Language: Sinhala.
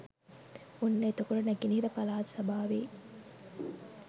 ඔන්න එතකොට නැගනහිර පළාත් සභාවේ